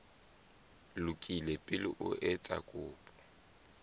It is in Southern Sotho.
lokile pele o etsa kopo